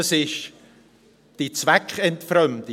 Das ist die Zweckentfremdung.